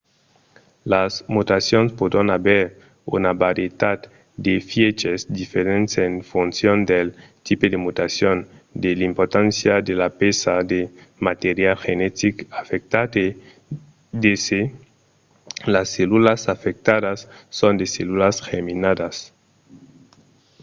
las mutacions pòdon aver una varietat d'efièches diferents en foncion del tipe de mutacion de l'importància de la pèça de material genetic afectat e de se las cellulas afectadas son de cellulas germinalas